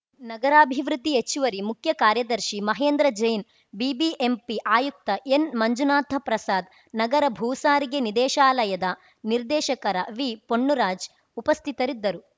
ನಗರಾಭಿವೃದ್ಧಿ ಹೆಚ್ಚುವರಿ ಮುಖ್ಯ ಕಾರ್ಯದರ್ಶಿ ಮಹೇಂದ್ರ ಜೈನ್‌ ಬಿಬಿಎಂಪಿ ಆಯುಕ್ತ ಎನ್‌ಮಂಜುನಾಥ ಪ್ರಸಾದ್‌ ನಗರ ಭೂಸಾರಿಗೆ ನಿದೇಶಾಲಯದ ನಿರ್ದೇಶಕರ ವಿಪೊನ್ನುರಾಜ್‌ ಉಪಸ್ಥಿತರಿದ್ದರು